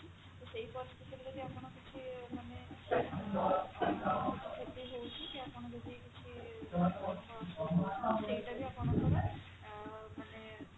ତ ସେଇ ପରିସ୍ଥିତିରେ ଯଦି ଆପଣ କିଛି ମାନେ କ୍ଷତି ହଉଛି ଆପଣ ଯଦି କିଛି ସେଇଟା ବି ଆପଣଙ୍କର ମାନେ